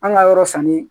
An ka yɔrɔ sanni